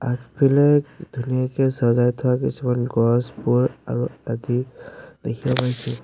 আগফালে ধুনীয়াকে চজাই থোৱা কিছুমান গছবোৰ আৰু আদি দেখিব পাইছোঁ।